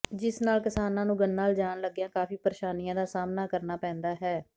ਜਿਸ ਨਾਲ ਕਿਸਾਨਾਂ ਨੂੰ ਗੰਨਾ ਲਿਜਾਣ ਲੱਗਿਆਂ ਕਾਫ਼ੀ ਪਰੇਸ਼ਾਨੀਆਂ ਦਾ ਸਾਹਮਣਾ ਕਰਨਾ ਪੈਂਦਾ ਹੈ